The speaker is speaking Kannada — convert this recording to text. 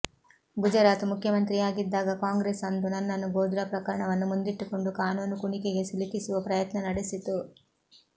ಗುಜರಾತ್ ಮುಖ್ಯಮಂತ್ರಿಯಾಗಿದ್ದಾಗ ಕಾಂಗ್ರೆಸ್ ಅಂದು ನನ್ನನ್ನು ಗೋದ್ರಾ ಪ್ರಕರಣವನ್ನು ಮುಂದಿಟ್ಟುಕೊಂಡು ಕಾನೂನು ಕುಣಿಕೆಗೆ ಸಿಲುಕಿಸುವ ಪ್ರಯತ್ನ ನಡೆಸಿತು